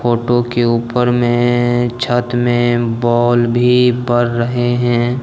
फोट के ऊपर में छत में बॉल भी बर रहे हैं।